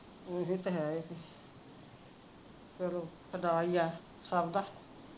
ਇਹੀ ਤਾਂ ਹੈ ਚਲੋ ਖੁਦਾ ਹੀ ਏ ਸਭ ਦਾ